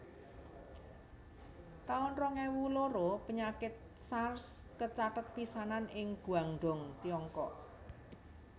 taun rong ewu loro Panyakit Sars kacathet pisanan ing Guangdong Tiongkok